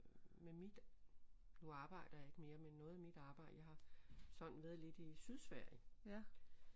Med mit nu arbejder jeg ikke mere men noget af mit arbejde jeg har sådan været lidt i Sydsverige